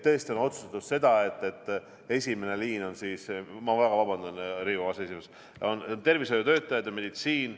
Tõesti on otsustatud seda, et esimene liin on siis – ma väga vabandan, Riigikogu aseesimees – tervishoiutöötajad ja meditsiin.